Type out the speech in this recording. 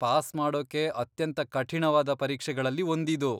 Pass ಮಾಡೋಕೆ ಅತ್ಯಂತ ಕಠಿಣವಾದ ಪರೀಕ್ಷೆಗಳಲ್ಲಿ ಒಂದಿದು.